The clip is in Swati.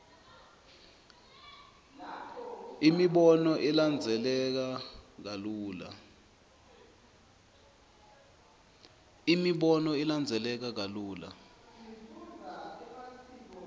imibono ilandzeleka kalula